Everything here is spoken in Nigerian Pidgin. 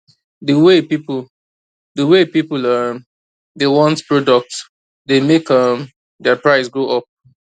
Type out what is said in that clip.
the way people the way people um dey want product dey make um their price go up